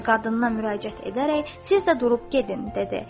Və qadına müraciət edərək siz də durub gedin, dedi.